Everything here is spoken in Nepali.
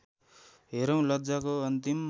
हेरौँ लज्जाको अन्तिम